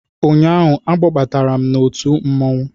Ụnyaahụ, a kpọbatara m n'otu mmanwụ